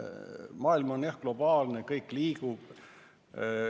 Maailm on jah globaalne, kõik liigub.